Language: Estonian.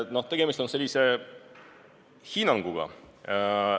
No tegemist on hinnanguga.